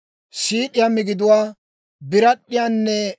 siid'iyaa migiduwaa, birad'd'iyaanne